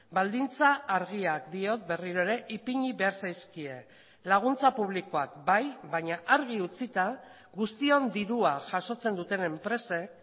baldintza argiak diot berriro ere ipini behar zaizkie laguntza publikoak bai baina argi utzita guztion dirua jasotzen duten enpresek